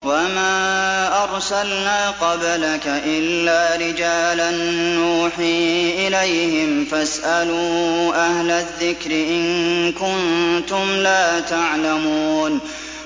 وَمَا أَرْسَلْنَا قَبْلَكَ إِلَّا رِجَالًا نُّوحِي إِلَيْهِمْ ۖ فَاسْأَلُوا أَهْلَ الذِّكْرِ إِن كُنتُمْ لَا تَعْلَمُونَ